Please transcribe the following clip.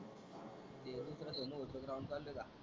ते दुसरं सोन होत चाललं का?